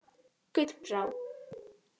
Gullbrá